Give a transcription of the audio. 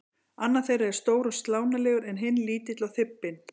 Annar þeirra er stór og slánalegur en hinn lítill og þybbinn.